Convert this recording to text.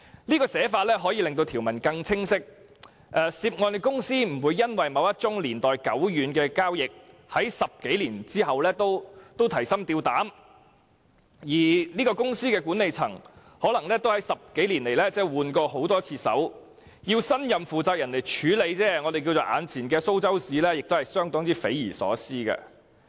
這寫法可令條文更清晰，涉案公司不會因為某一宗年代久遠的交易，在10多年後仍要提心吊膽，而這些公司的管理層可能在10多年來已更換過很多次人，要新任負責人來處理前朝的"蘇州屎"亦是相當匪夷所思。